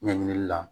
Ɲɛɲinili la